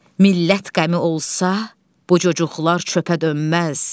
Millət qəmi olsa, bu cücüklar çöpə dönməz.